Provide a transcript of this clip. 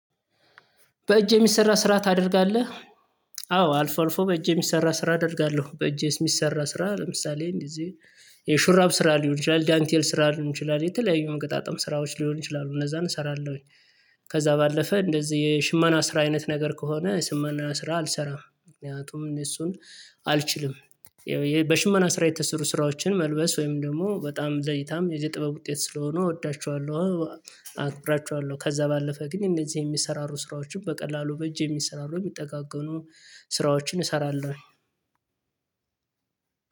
በእጅ የሚሰራ ስራ ታደርጋለህ? አዎ አልፎ አልፎ በእጅ የሚሰራ ስራ አደርጋለሁ በእጅ የሚሰራ ስራ ለምሳሌ እንደዚህ የሹራብ ስራ ሊሆን ይችላል ዳንቴል ስራ ሊሆን ይችላል የተለያዩ መገጣጠም ስራዎች ሊሆን ይችላሉ እነዛን እሰራለሁኝ። ከዛ ባለፈ እንደዚህ የሽመና ስራ አይነት ነገር ከሆነ የሽመና ስራ አልሰራም ምክንያቱም እኔ እሱን አልችልም። ይኸው በሽመና ስራ የተሰሩ ስራዎችን መልበስ ወይም ደግሞ በጣም ዘይታም የዚህ ጥበብ ውጤት ስለሆኑ እወዳቸዋለሁ። አክብራቸዋለሁ ከዛ ባለፈ ግን እንደዚህ የሚሰራሩ ስራዎችን በቀላሉ በእጅ የሚሰራሩ የሚጠጋገሩ ስራዎችን እሰራለሁ።